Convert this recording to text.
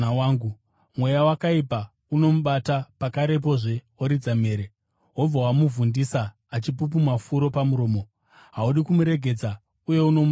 Mweya wakaipa unomubata pakarepo oridza mhere; wobva womubvundisa achipupuma furo pamuromo. Haudi kumuregedza uye unomuparadza.